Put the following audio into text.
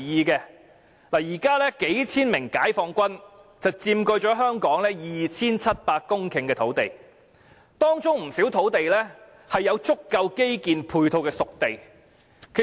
現時數千名解放軍佔據了香港 2,700 公頃的土地，當中不少土地是有足夠基建配套的"熟地"。